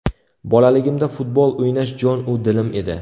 Bolaligimda futbol o‘ynash jon-u dilim edi.